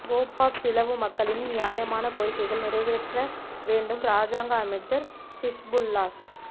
கேப்பாப்பிலவு மக்களின் நியாயமான கோரிக்கைகள் நிறைவேற்ற வேண்டும் இராஜாங்க அமைச்சர் ஹிஸ்புல்லாஹ்